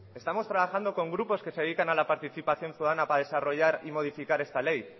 estamos trabajando con grupos que se dedican a la participación ciudadana para desarrollar y modificar esta ley